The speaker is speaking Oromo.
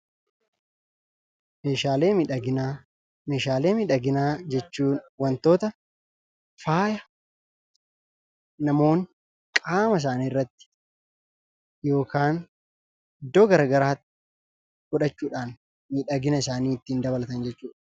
Meeshaalee miidhaginaa Meeshaalee miidhaginaa jechuun wantoota, faaya namoonni qaama isaanii irratti yookaan iddoo garagaraatti godhachuudhaan miidhagina isaanii ittiin dabalatan jechuu dha.